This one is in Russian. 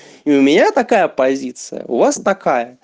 у меня такая позиция у вас такая